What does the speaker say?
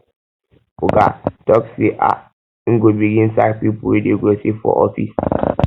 oga tok sey um im go begin sack pipo wey dey gossip for office